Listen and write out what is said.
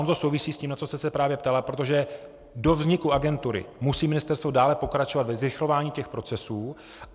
Ono to souvisí s tím, na co jste se právě ptala, protože do vzniku agentury musí ministerstvo dále pokračovat ve zrychlování těch procesů.